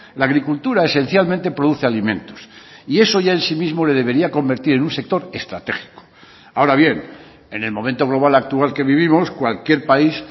la agricultura esencialmente produce alimentos y eso ya en sí mismo le debería convertir en un sector estratégico ahora bien en el momento global actual que vivimos cualquier país